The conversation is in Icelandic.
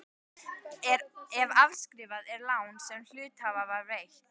ef afskrifað er lán sem hluthafa var veitt.